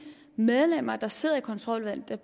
medlemmer der sidder i kontroludvalget